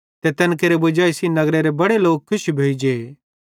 ते तैन केरे वजाई सेइं नगरेरे बड़े लोक खुश भोइजेइ